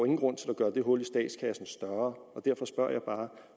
ingen grund til at gøre det hul i statskassen større og derfor spørger jeg bare